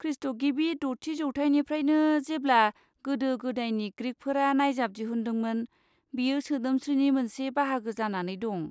खृष्टगिबि द'थि जौथाइनिफ्रायनो, जेब्ला गोदो गोदायनि ग्रिकफोरा नायजाब दिहुन्दोंमोन, बेयो सोदोमस्रिनि मोनसे बाहागो जानानै दं।